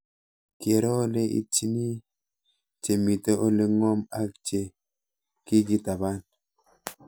Kero ole itchini che mito ole ng'om ak che kikitaban